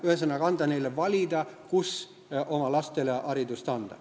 Ühesõnaga, see lubab neil ise otsustada, kus oma lastele haridust anda.